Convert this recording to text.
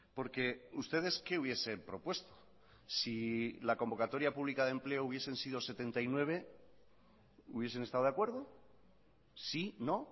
porque ustedes qué hubiesen propuesto si la convocatoria pública de empleo hubiesen sido setenta y nueve hubiesen estado de acuerdo sí no